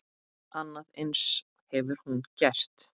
Annað eins hefur hún gert.